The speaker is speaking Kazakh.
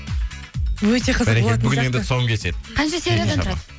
өте қызық болатын сияқты тұсауын кеседі қанша сериядан тұрады